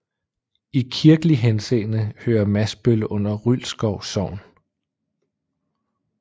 I kirkelig henseende hører Masbøl under Rylskov Sogn